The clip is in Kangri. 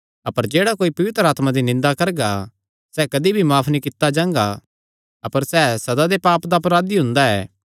अपर जेह्ड़ा कोई पवित्र आत्मा दी निंदा करगा सैह़ कदी भी माफ नीं कित्ता जांगा अपर सैह़ सदा दे पाप दा अपराधी हुंदा ऐ